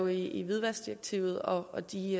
i hvidvaskdirektivet og de